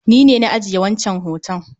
Ni ne na ajiye wancan hoton